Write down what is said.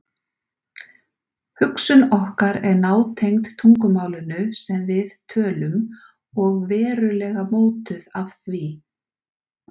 Hugsun okkar er nátengd tungumálinu sem við tölum og verulega mótuð af því.